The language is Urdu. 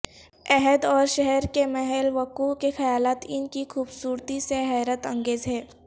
عہد اور شہر کے محل وقوع کے خیالات ان کی خوبصورتی سے حیرت انگیز ہیں